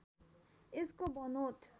यसको बनोट